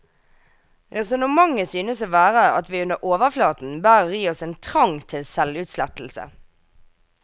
Resonnementet synes å være at vi under overflaten bærer i oss en trang til selvutslettelse.